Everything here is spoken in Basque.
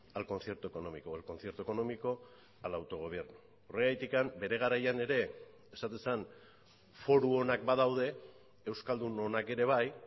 al concierto económico o el concierto económico al autogobierno horregatik bere garaian ere esaten zen foru onak badaude euskaldun onak ere bai